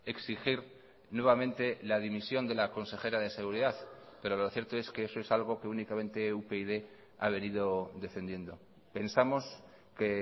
exigir nuevamente la dimisión de la consejera de seguridad pero lo cierto es que eso es algo que únicamente upyd ha venido defendiendo pensamos que